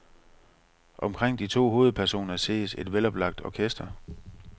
Omkring de to hovedpersoner ses et veloplagt orkester.